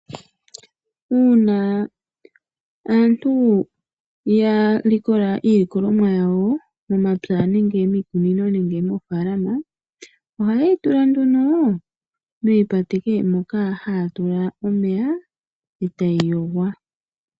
Uuna aantu ya likola iilikolomwa yawo momapya nenge miikunino nenge moofalama, ohaye yi tula nduno miipakete moka haya tula omeya e tayi yogwa.